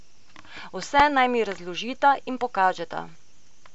Vse naj mi razložita in pokažeta.